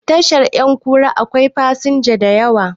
Tashar 'yankura akwai fasinja da yawa